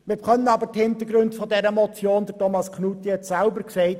Wir kennen aber die Hintergründe dieser Motion, und Grossrat Knutti hat es selber gesagt: